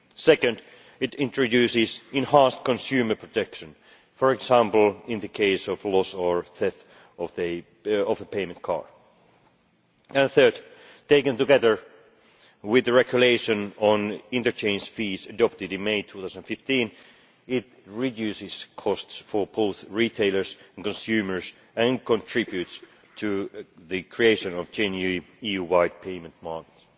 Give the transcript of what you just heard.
Secondly, it introduces enhanced consumer protection, for example in the case of loss or theft of a payment card. Thirdly, taken together with the regulation on interchange fees adopted in May 2015, it reduces costs for both retailers and consumers and contributes to the creation of genuine EU wide payment markets.